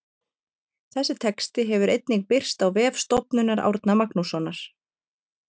Þessi texti hefur einnig birst á vef Stofnunar Árna Magnússonar.